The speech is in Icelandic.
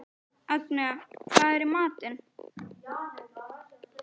Agnea, hvað er í matinn?